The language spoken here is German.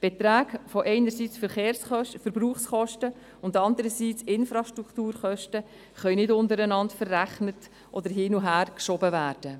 Beträge von Verbrauchskosten einerseits und Infrastrukturkosten andererseits können nicht untereinander verrechnet oder hin und her geschoben werden.